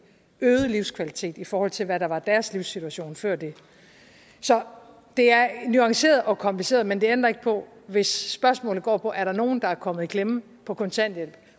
øget livskvalitet i forhold til hvad der var deres livssituation før det så det er nuanceret og kompliceret men det ændrer ikke på hvis spørgsmålet går på er nogen der er kommet i klemme på kontanthjælp